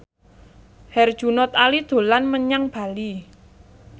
Herjunot Ali dolan menyang Bali